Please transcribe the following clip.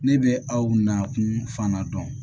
Ne bɛ aw nakun fana dɔn